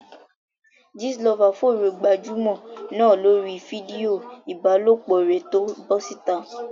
Gist lover fòòró gbajúmọ̀ náà lórí fídíò ìbálòpọ̀ rẹ̀ tó bọ́ síta.